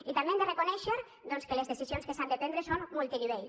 i també hem de reconèixer que les decisions que s’han de prendre són multinivell